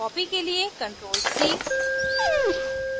copy के लिए ctrl + c